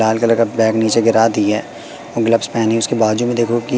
डाल के रखा बैग नीचे गिरा दिया ग्लव्स पहेनि उसके बाजू में देखो की--